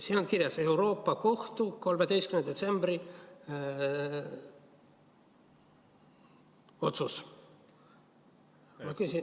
Siin on kirjas: Euroopa Kohtu 13. detsembri otsus.